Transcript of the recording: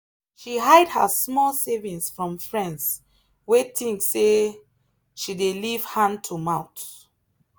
she hide her small savings from friends wey think say she dey live hand to mouth.